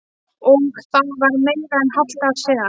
Og það var meira en hálft ár síðan.